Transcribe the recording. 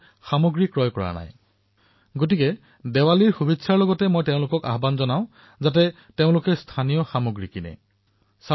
সেয়ে দিপাৱলীৰ শুভকামনাৰ সৈতে মই আপোনালোকক আহ্বান জনাইছো যে আহক আমি স্থানীয় সামগ্ৰী ক্ৰয় কৰিবলৈ আগ্ৰহী হও আৰু স্থানীয় সামগ্ৰী ক্ৰয় কৰো